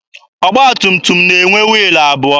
Ọgba tum tum na-enwe wiilụ abụọ.